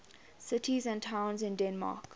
cities and towns in denmark